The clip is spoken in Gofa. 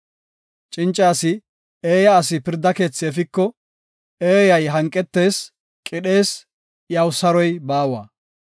Cinca asi eeya asa pirda keethi efiko, eeyay hanqetees; qidhees; iyaw saroy baawa.